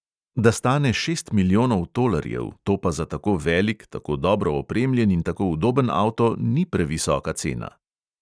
Da stane šest milijonov tolarjev, to pa za tako velik, tako dobro opremljen in tako udoben avto ni previsoka cena.